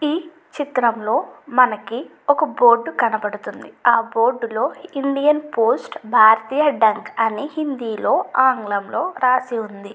ఈ చిత్రంలో మనకి ఒక బోర్డు కనబడుతుంది ఆ బోర్డులో ఇండియన్ పోస్ట్ భారతీయ డెక్క అని హిందీలో ఆంగ్లంలో రాసి ఉంది.